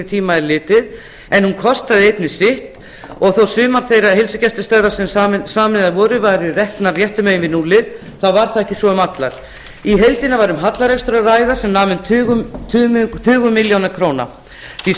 tíma er litið en hún kostar einnig sitt þó sumar þeirra heilsugæslustöðva sem sameinaðar voru væru reknar réttu megin við núllið var það ekki svo með allar í heildina var um hallarekstur að ræða sem nam um tugum milljóna króna því